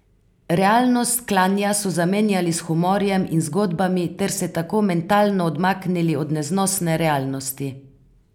Realnost klanja so zamenjali s humorjem in zgodbami ter se tako mentalno odmaknili od neznosne realnosti.